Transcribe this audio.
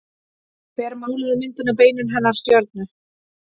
Hver málaði myndina Beinin hennar stjörnu?